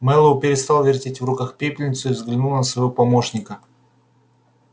мэллоу перестал вертеть в руках пепельницу и взглянул на своего помощника